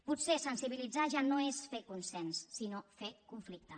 potser sensibilitzar ja no és fer consens sinó fer conflicte